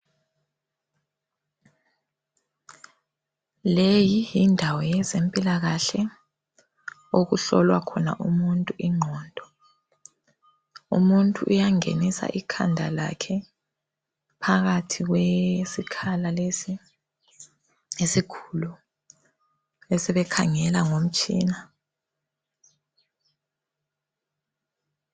Leyi yindawo yezempilakahle okuhlolwa khona umuntu ingqondo. Umuntu uyangenisa ikhanda lakhe phakathi kwesikhala lesi esikhulu besebekhangela ngomtshina.